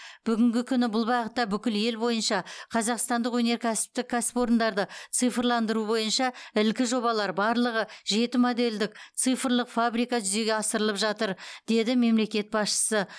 бүгінгі күні бұл бағытта бүкіл ел бойынша қазақстандық өнеркәсіптік кәсіпорындарды цифрландыру бойынша ілкі жобалар барлығы жеті модельдік цифрлық фабрика жүзеге асырылып жатыр деді мемлекет басшысы